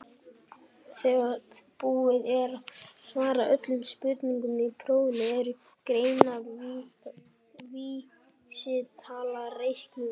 þegar búið er að svara öllum spurningum í prófinu er greindarvísitala reiknuð út